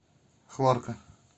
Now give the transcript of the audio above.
хлорка